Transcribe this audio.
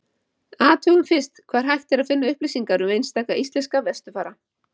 athugum fyrst hvar hægt er að finna upplýsingar um einstaka íslenska vesturfara